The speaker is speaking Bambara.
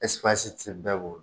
ti bɛɛ bolo.